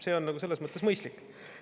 See on selles mõttes mõistlik.